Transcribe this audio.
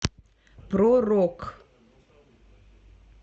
про рок